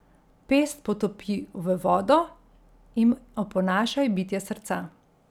Pest potopi v vodo in oponašaj bitje srca.